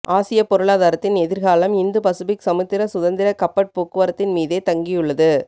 ஆசியப் பொருளாதாரத்தின் எதிர்காலம் Indo Pacific சமுத்திர சுதந்திர கப்பற் போக்குவரத்தின் மீதே தங்கியுள்ளது